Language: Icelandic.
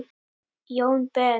Jón Ben.